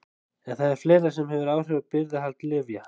En það er fleira sem hefur áhrif á birgðahald lyfja.